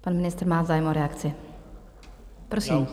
Pan ministr má zájem o reakci, prosím.